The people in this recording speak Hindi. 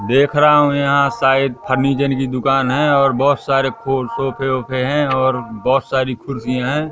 देख रहा हूँ यहाँ साइड फ़र्निचर की दुकान है और बहोत सारे फोर सोफ़े वोफ़े हैं और बहोत सारी कुरसियाँ हैं।